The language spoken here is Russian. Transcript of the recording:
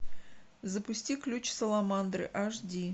запусти ключ саламандры аш ди